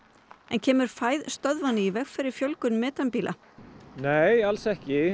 kemur fæð stöðvanna í veg fyrir fjölgun metanbíla nei alls ekki